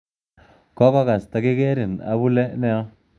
Kokokas tokikerin abule nia